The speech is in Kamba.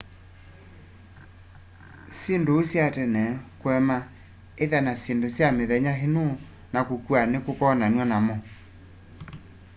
syinduũ sya tene kuema itha na syindũ sya mithenya ino na kũkua nikukonanwa namo